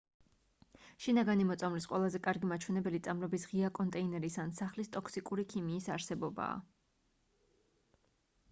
შინაგანი მოწამვლის ყველაზე კარგი მაჩვენებელი წამლების ღია კონტეინერის ან სახლის ტოქსიკური ქიმიის არსებობაა